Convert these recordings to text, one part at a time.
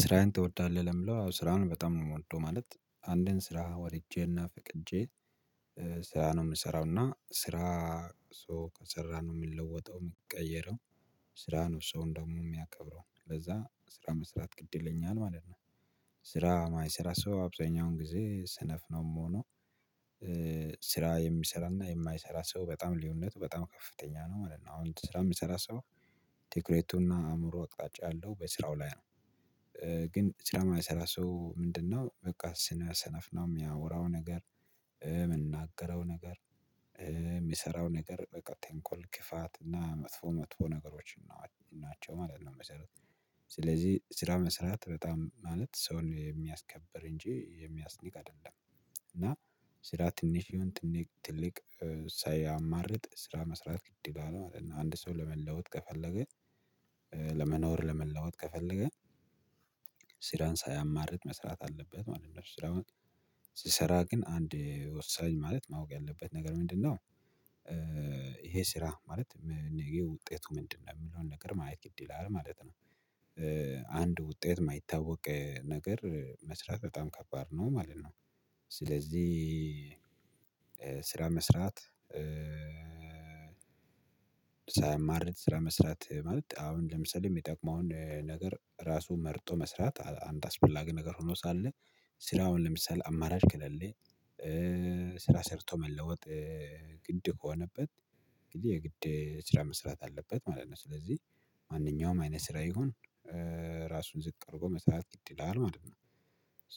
ስራህን ትወዳለህ ለምለው ስራውን በጣም ነው የምወደው። ማለት አንድን ስራ ወድጄ እና ፈቅጄ ስራ ነው የምሰራው እና ስራ ሰው ከሰራ ነው የምለወጠው የምቀየረው። ስራ ነው አንድ ሰውም ደግሞ የሚያከብረው ለዛ ስራ መስራት ግድ ይለኛል ማለት ነው። ስራ የማይሰራ ሰው አብዛኛውን ጊዜ ስነፍ ነው የምሆነው። ስራ የሚሰራና የማይሰራ ሰው በጣም ልዩነት በጣም ከፍተኛ ነው ማለት ነው። አሁን ስራ የምሰራ ሰው ትክረቱና አእምሮ አቅጣጫ ያለው በስራው ላይ ነው። ሰራ የማይሰራ ሰው ምንድነው? በቃ ስለ ሰነፍ ነው የሚያወራው ነገር የምናገረው ነገር የሚሰራው ነገር በቃ ተንኮል ክፋት እና መጥፎ መጥፎ ነገሮች ናቸው ማለት ነው። መሰረት ስለዚህ ስራ መስራት በጣም ማለት ሰውን የሚያስከብር እንጂ የሚያስንቅ አይደለም። እና ስራ ትንሽ ይሆን ትልቅ ሳያማርጥ ስራ መስራት ግድ ይላል ማለት ነው። አንድ ሰው ለመለዋወጥ ከፈለገ። ለመኖር ለመለዋወጥ ከፈለገ። ስራን ሳያማርጥ መስራት አለበት ማለት ነው። ስራውን ሲሰራ ግን አንድ ወሳኝ ማለት ማወቅ ያለበት ነገር ምንድነው? ይሄ ስራ ማለት ይሄ ውጤቱ ምንድ ነው የምለውን ነገር ማየት ግድ ይላል ማለት ነው። አንድ ውጤት የማይታወቅ ነገር መስራት በጣም ከባድ ነው ማለት ነው። ስለዚህ ስራ መስራት ሳያማርጥ ስራ መስራት ማለት አሁን ለምሳሌ የሚጠቅመውን ነገር ራሱ መርጦ መስራት አንድ አስፈላጊ ነገር ሆኖ ሳለ። ስራውን ለምሳሌ አማራጭ ክለሌ። ስራ ሰርቶ መለወጥ። ግድ ከሆነበት ግድ የግድ ስራ መስራት አለበት ማለት ነው። ስለዚህ ማንኛውም አይነት ስራ ይሁን። ራሱን ዝቅ አድርጎ መስራት ግድ ይላል ማለት ነው።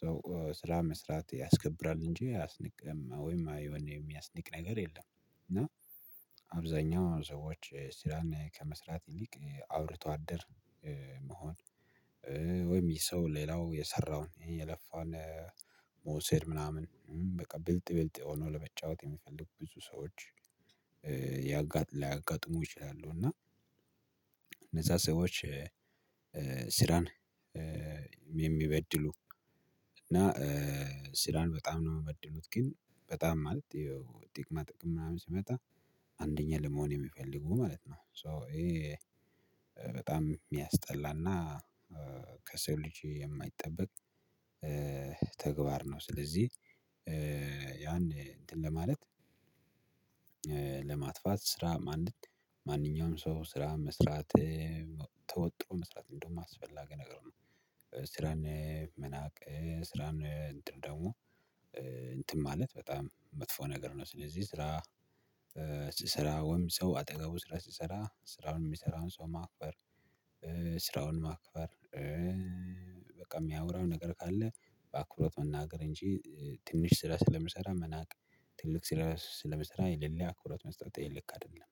ሰው ስራ መስራት ያስከብራል እንጂ አያስንቅም ወይም የሚያስንቅ ነገር የለም። እና አብዛኛው ሰዎች ስራን ከመስራት ይልቅ አውርቶ አደር መሆን። ወይም ይህ ሰው ሌላው የሰራውን ይሄ የለፋን መውሰድ ምናምን በቃ ብልጥ ብልጥ ሆኖ ለመጫወት የሚፈልጉ ብዙ ሰዎች። ሊያጋጥሙ ይችላሉ። እና እነዛ ሰዎች ስራን የሚበድሉ እና ስራን በጣም ነው የሚበድሉት። ግን በጣም ማለት ያው ጥቅማ ጥቅም ምናምን ሲመጣ አንደኛ ለመሆን የሚፈልጉ ማለት ነው። ሶ ይሄ በጣም የሚያስጠላና ከሰው ልጅ የማይጠበቅ ተግባር ነው። ስለዚህ ያን እንትን ለማለት ለማጥፋት ስራ ማንኛውም ሰው ስራ መስራት ተወጥሮ መስራት እንደውም አስፈላጊ ነገር ነው። ስራን መናቅ ስራን እንትን ደግሞ እንትን ማለት በጣም መጥፎ ነገር ነው። ስለዚህ ስራ ስራ ወይም ሰው አጠገቡ ስራ ሲሰራ ስራውን የሚሰራውን ሰው ማክበር ስራውን ማክበር የሚያወራው ነገር ካለ በአክብሮት መናገር እንጂ ትንሽ ስራ ስለምሰራ መናቅ። ትልቅ ስራ ስለሚሰራ የሌለ አክብሮት መስጠት ልክ አይደለም